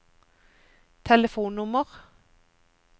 telefonnummer